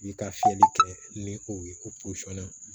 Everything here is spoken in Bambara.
I bi ka fiyɛli kɛ ni o ye o na